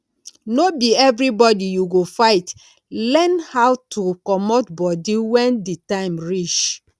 no be everybody you go fight learn how to comot body when di time reach